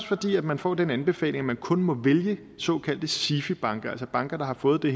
fordi man får den anbefaling at man kun må vælge såkaldte sifi banker altså banker der har fået den